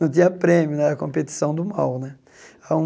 Não tinha prêmio né, era competição do mal né.